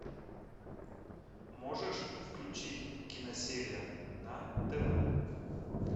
можешь включить киносерия на тв